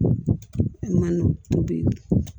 O bi